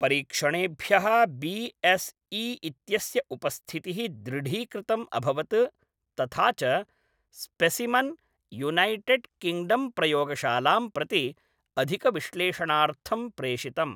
परीक्षणेभ्यः B S E इत्यस्य उपस्थितिः दृढीकृतम् अभवत् तथा च स्पेसिमन्, यूनैटेड् किङ्ग्डम्प्रयोगशालां प्रति अधिकविश्लेषणार्थं प्रेषितम्।